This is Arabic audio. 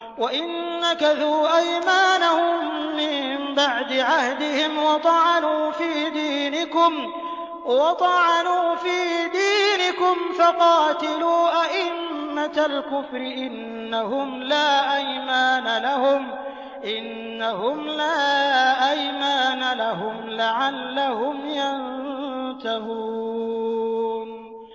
وَإِن نَّكَثُوا أَيْمَانَهُم مِّن بَعْدِ عَهْدِهِمْ وَطَعَنُوا فِي دِينِكُمْ فَقَاتِلُوا أَئِمَّةَ الْكُفْرِ ۙ إِنَّهُمْ لَا أَيْمَانَ لَهُمْ لَعَلَّهُمْ يَنتَهُونَ